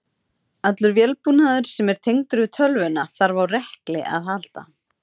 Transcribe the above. Allur vélbúnaður sem er tengdur við tölvuna þarf á rekli að halda.